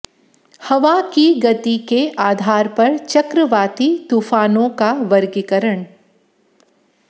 हवा की गति के आधार पर चक्रवाती तूफ़ानों का वर्गीकरण